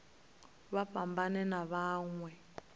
vha fhambane na vha mawe